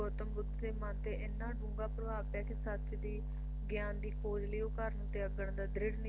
ਗੌਤਮ ਬੁੱਧ ਦੇ ਮਨ ਤੇ ਇਹਨਾਂ ਡੂੰਘਾ ਪ੍ਰਭਾਵ ਪਿਆ ਕੇ ਸੱਚ ਦੀ ਗਿਆਨ ਦੀ ਖੋਜ ਲਈ ਉਹ ਘਰ ਨੂੰ ਤਿਆਗਣ ਦਾ ਦ੍ਰਿੜ